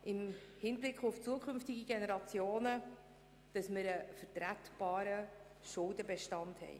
Im Hinblick auf zukünftige Generationen darf nicht vergessen gehen, dass wir einen vertretbaren Schuldenbestand haben.